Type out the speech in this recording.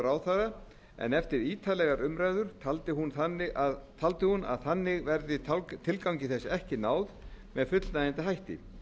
ráðherra en eftir ítarlegar umræður telur hún að þannig verði tilgangi þess ekki náð með fullnægjandi hætti